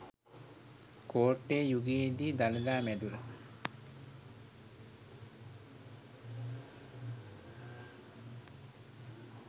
කෝට්ටේ යුගයේ දී දළදා මැදුර